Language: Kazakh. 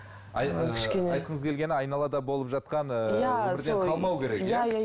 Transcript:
ы айтқыныз келгені айналада болып жатқан ыыы өмірден қалмау керек иә